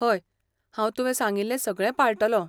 हय, हांव तुवें सांगिल्लें सगळें पाळटलों .